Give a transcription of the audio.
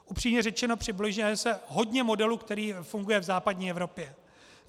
Upřímně řečeno, přibližuje se hodně modelu, který funguje v západní Evropě.